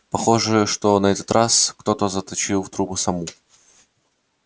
похоже что на этот раз кто-то заточил в трубы саму